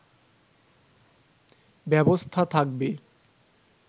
ব্যবস্থা থাকবে